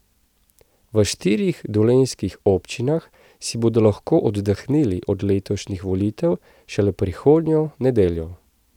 V štirih dolenjskih občinah si bodo lahko oddahnili od letošnjih volitev šele prihodnjo nedeljo.